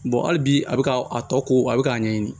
hali bi a bɛ k'a tɔ ko a bɛ k'a ɲɛɲini